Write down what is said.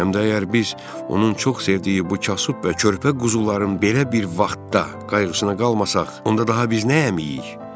Həm də əgər biz onun çox sevdiyi bu kasıb və körpə quzuların belə bir vaxtda qayğısına qalmasaq, onda daha biz nəyə əməyiik?